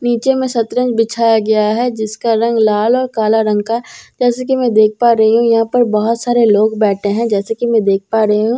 नीचे में सतरंज बिछाया गया है जिसका रंग लाल और काला रंग का है जैसा कि मैं देख पा रही यहां पर बहुत सारे लोग बैठे हैं जैसा कि मैं देख पा रही हूं --